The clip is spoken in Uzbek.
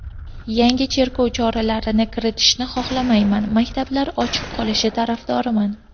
Yangi cheklov choralarini kiritishni xohlamayman, maktablar ochiq qolishi tarafdoriman.